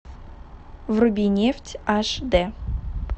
вруби нефть аш дэ